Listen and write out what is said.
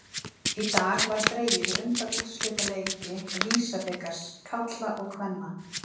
Í dag var dregið í undanúrslitaleiki VISA-bikars karla og kvenna.